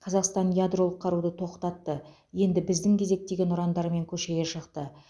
қазақстан ядролық қаруды тоқтатты енді біздің кезек деген ұрандармен көшеге шықты